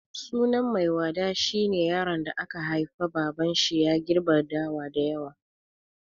Sunan Maiwada shi ne yaron da aka haifa babanshi ya girbe dawa da yawa.